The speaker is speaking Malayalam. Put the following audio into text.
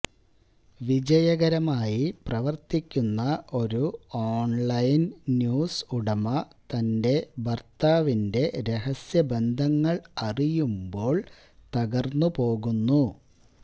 വിജയകരമായി പ്രവര്ത്തിക്കുന്ന ഒരു ഓണ്ലൈന് ന്യൂസ് ഉടമ തന്റെ ഭര്ത്താവിന്റെ രഹസ്യ ബന്ധങ്ങള് അറിയുമ്പോള് തകര്ന്നു പോകുന്നു